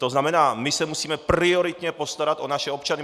To znamená, my se musíme prioritně postarat o naše občany.